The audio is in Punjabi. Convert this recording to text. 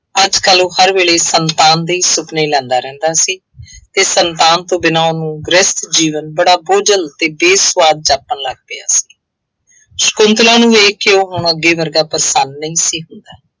ਅੱਜ ਕੱਲ੍ਹ ਉਹ ਹਰ ਵੇਲੇ ਸੰਤਾਨ ਦੇ ਹੀ ਸੁਪਨੇ ਲੈਂਦਾ ਰਹਿੰਦਾ ਸੀ ਅਤੇ ਸੰਤਾਨ ਤੋਂ ਬਿਨਾ ਉਹਨੂੰ ਗ੍ਰਹਿਸਥ ਜੀਵਨ ਬੜਾ ਬੋਝਲ ਅਤੇ ਬੇਸੁਆਦ ਜਾਪਣ ਲੱਗ ਪਿਆ ਸੀ। ਸ਼ੰਕੁਤਲਾ ਨੂੰ ਵੇਖ ਕੇ ਉਹ ਹੁਣ ਅੱਗੇ ਵਰਗਾ ਪ੍ਰਸੰਨ ਨਹੀਂ ਸੀ ਹੁੰਦਾ।